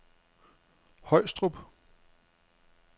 Højstrup